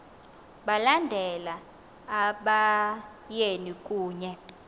balandela abayeni kunye